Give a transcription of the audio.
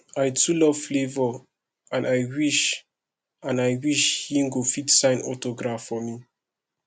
i too love flavour and i wish and i wish he go fit sign autograph for me